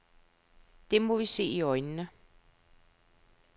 Det må vi se i øjnene.